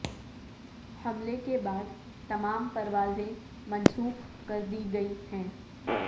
حملے کے بعد تمام پروازیں منسوخ کردی گئی ہیں